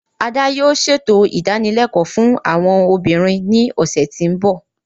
Ada yoo ṣeto idanilẹkọ fun awọn obinrin ni ọsẹ ti n bọ.